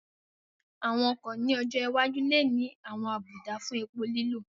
Àwọn ọkọ̀ ní ọjọ́ iwájú lè ní àwọn àbùdá fún epo lílò